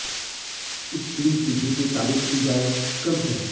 इस टीम की जितनी तारीफ की जाए कम है